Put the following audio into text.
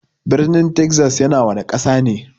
Birnin Texas yana wana Ƙasa ne?